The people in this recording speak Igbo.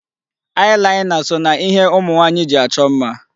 Eye liner so na ihe ụmụ nwaanyị ji achọ mma.